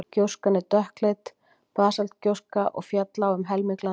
gjóskan er dökkleit basaltgjóska og féll á um helming landsins